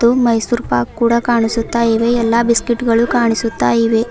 ಮೈಸೂರು ಪಾಕ್ ಕೂಡ ಕಾಣಿಸುತ್ತಾಯಿವೆ ಎಲ್ಲಾ ಬಿಸ್ಕೆಟ್ಗಳು ಕಾಣಿಸ್ತಾಯಿವೆ.